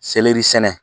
Seleri sɛnɛ